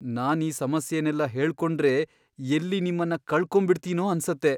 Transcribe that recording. ನಾನ್ ಈ ಸಮಸ್ಯೆನೆಲ್ಲ ಹೇಳ್ಕೊಂಡ್ರೆ ಎಲ್ಲಿ ನಿಮ್ಮನ್ನ ಕಳ್ಕೊಂಬಿಡ್ತೀನೋ ಅನ್ಸತ್ತೆ.